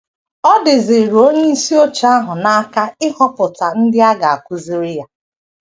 Ọ dịziiri onyeisi oche ahụ n’aka ịhọpụta ndị a ga - akụziri ya.